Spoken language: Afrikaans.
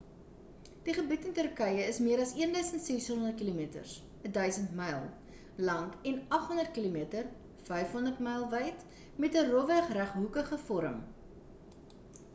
die gebied in turkye is meer as 1,600 kilometers 1,000 mi lank en 800 km 500 mi wyd met ‘n rofweg reghoekige vorm